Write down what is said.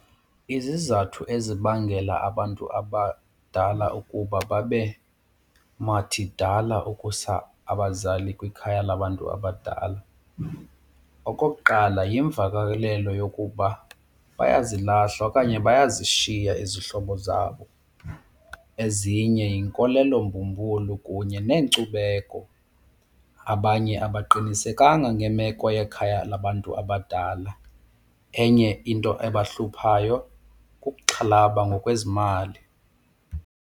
Izizathu ezibangela abantu abadala ukuba babe mathidala ukusa abazali kwikhaya labantu abadala okokuqala, yimvakalelo yokuba bayazilahla okanye bayazishiya izihlobo zabo. Ezinye yinkolelo mbumbulu kunye neenkcubeko. Abanye abaqinisekanga ngemeko yekhaya labantu abadala. Enye into abahluphayo kukuxhalaba ngokwezimali.